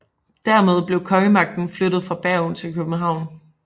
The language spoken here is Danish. Dermed blev kongemagten flyttet fra Bergen til København